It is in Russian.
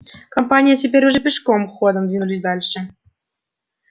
компания теперь уже пешим ходом двинулись дальше